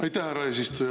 Aitäh, härra eesistuja!